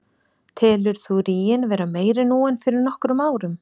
Telur þú ríginn vera meiri nú en fyrir nokkrum árum?